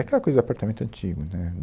É aquela coisa de apartamento antigo, né?